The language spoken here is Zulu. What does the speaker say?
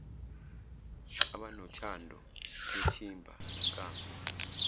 abanothando lwethimba inkambu